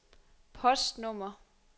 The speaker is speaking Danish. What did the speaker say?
postnummer